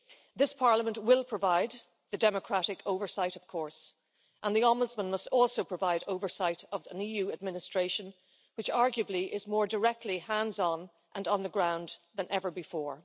This Parliament will provide the democratic oversight, of course, and the Ombudsman must also provide oversight of an EU administration which arguably is more directly hands on and on the ground than ever before.